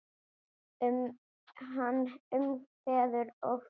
Hann umvefur og faðmar.